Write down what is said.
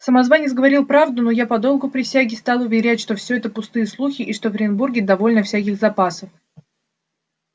самозванец говорил правду но я по долгу присяги стал уверять что всё это пустые слухи и что в оренбурге довольно всяких запасов